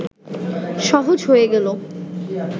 সহজ হয়ে গেলে